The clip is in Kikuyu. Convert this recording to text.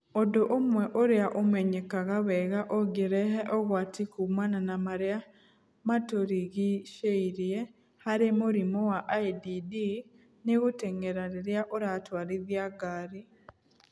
Ũndũ ũmwe ũrĩa ũmenyekaga wega ũngĩrehe ũgwati kumana na marĩa matũrigiĩirie harĩ mũrimũ wa IDD nĩ gũteng'era rĩrĩa ũratwarithia ngari.